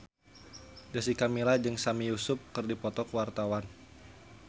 Jessica Milla jeung Sami Yusuf keur dipoto ku wartawan